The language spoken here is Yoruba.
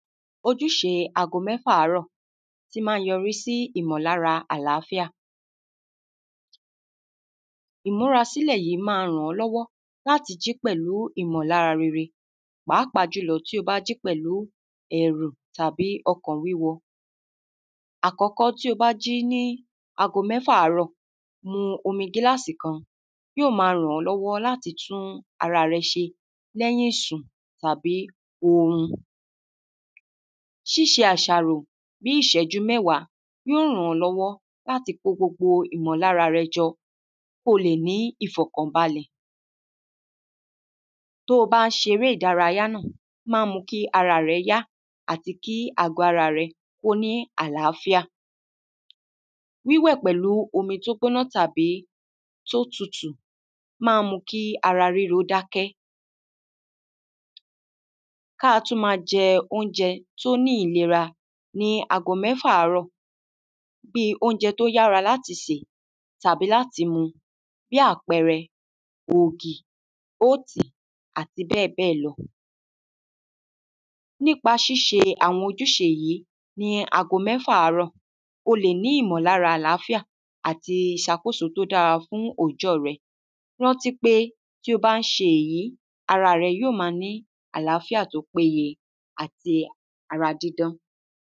ojúṣe ago mẹ́fà àárọ̀ tí maa yọrí sí ìmọ̀lára àlááfíà ìmúra sílẹ̀ yìí máa ràn ọ́ lọ́wọ́ láti jí pẹ̀lú ìmọ̀lára rere pàápàá jùlọ tí o bá jí pẹ̀lu ẹ̀rù tàbí ọkàn wúwo àkọ́kọ́ tí o bá jí ní ago mẹ́fà àárọ̀, mu omi gíláàsì kan, yóò máa ràn ọ́ lọ́wọ́ láti tún ara rẹ ṣe lẹ́yin ìsùn tàbí orun síṣe àṣàrò bíi ìṣẹ́jú mẹ́wàá yóò ràn ọ́ lọ́wọ́ láti ko gbogbo ìmọ̀lára rẹ jọ kí o lè ní ìfọ̀kàn balẹ̀ tí o bá ń ṣe eré ìdárayá náà, ó ma ń mú kí ara rẹ yá àti kí àgo ara rẹ kí ó ní àlááfíà wíwẹ̀ pẹ̀lu omi tí ó gbóná tàbí tí ó tutu ma ń mú kí ara ríro dákẹ́ kí a tún máa jẹ óúnjẹ tí ó ní ìlera ní ago mẹ́fà àárọ̀, bíi óúnjẹ tí ó yára láti sè tàbí láti mu, bíi àpẹrẹ, ògì, óòtì, àti bẹ́ẹ̀ bẹ́ẹ̀ lọ nípa síṣe àwọn ojúṣe yìí ní ago mẹ́fà àárọ̀, o lè ní ìmọ̀ lára àlááfíà àti ìṣàkóso tí ó dára fún òòjọ́ rẹ rántí pé tí o bá ń ṣe èyí, ara rẹ yóò máa ní àlááfíà tí ó péye àti ara dídán